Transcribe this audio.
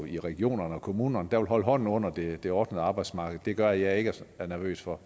i regionerne og kommunerne der vil holde hånden under det det ordnede arbejdsmarked gør at jeg ikke er så nervøs for